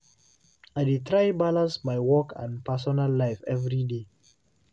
I dey try balance my work and personal life every day.